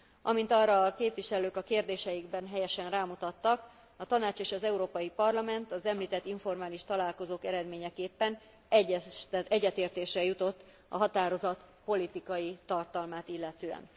Amint arra a képviselők a kérdéseikben helyesen rámutattak, a Tanács és az Európai Parlament az említett informális találkozók eredményeképpen egyetértésre jutott a határozat politikai tartalmát illetően.